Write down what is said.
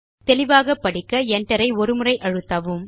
தெளிவாக படிக்க Enter ஐ ஒரு முறை அழுத்தலாம்